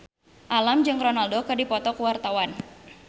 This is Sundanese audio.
Alam jeung Ronaldo keur dipoto ku wartawan